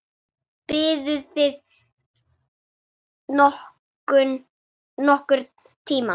Biðuð þið nokkurn tíma?